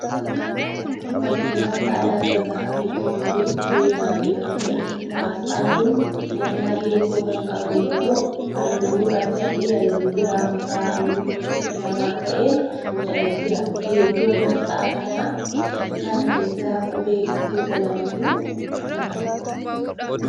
Fakkii asxaa dhaabbata 'Itiyoo Zeenaa' jedhamuudha. Asxaan kun danaa geengoo kan qabu yoo ta'u halluu gurraachaa fi halluu biraa makaa halluu lama ta'een boocamee jira. Geengoo aasxaa kana keessa qubee gosa lamatu jira.